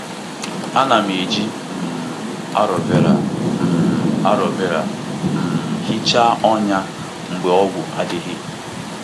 Ana m eji um aloe vera um aloe vera um hichaa ọnya mgbe ọgwụ adịghị.